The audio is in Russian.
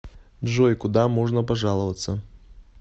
джой куда можно пожаловаться